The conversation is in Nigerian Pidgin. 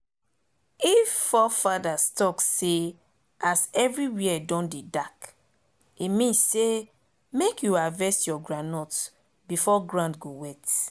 if fore fathers talk say as everywhere don dey dark e mean say make you harvest your groundnut before ground go wet